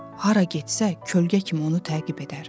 Hara getsə kölgə kimi onu təqib edər.